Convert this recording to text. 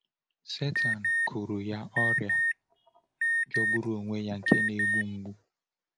Sátán kụrọ ya ọrịa jọgburu onwe ya, nke na-egbu mgbu.